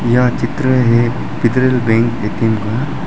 यह चित्र है फितरल बैंक ए_टी_एम का।